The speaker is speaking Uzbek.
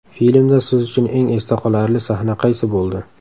Filmda siz uchun eng esda qolarli sahna qaysi bo‘ldi?